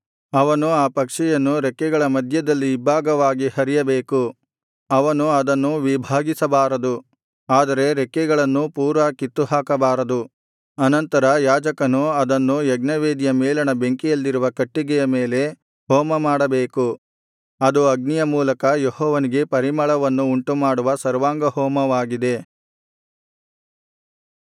ಅವನು ಆ ಪಕ್ಷಿಯನ್ನು ರೆಕ್ಕೆಗಳ ಮಧ್ಯದಲ್ಲಿ ಇಬ್ಭಾಗವಾಗಿ ಹರಿಯಬೇಕು ಅವನು ಅದನ್ನು ವಿಭಾಗಿಸಬಾರದು ಆದರೆ ರೆಕ್ಕೆಗಳನ್ನು ಪೂರಾ ಕಿತ್ತುಹಾಕಬಾರದು ಅನಂತರ ಯಾಜಕನು ಅದನ್ನು ಯಜ್ಞವೇದಿಯ ಮೇಲಣ ಬೆಂಕಿಯಲ್ಲಿರುವ ಕಟ್ಟಿಗೆಯ ಮೇಲೆ ಹೋಮಮಾಡಬೇಕು ಅದು ಅಗ್ನಿಯ ಮೂಲಕ ಯೆಹೋವನಿಗೆ ಪರಿಮಳವನ್ನು ಉಂಟುಮಾಡುವ ಸರ್ವಾಂಗಹೋಮವಾಗಿದೆ